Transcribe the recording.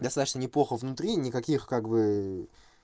достаточно неплохо внутри никаких как-бы